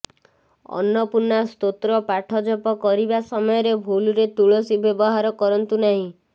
ଅନ୍ନପୂର୍ଣ୍ଣା ସ୍ତୋତ୍ର ପାଠ ଜପ କରିବା ସମୟରେ ଭୁଲରେ ତୁଳସୀ ବ୍ୟବହାର କରନ୍ତୁ ନାହିଁ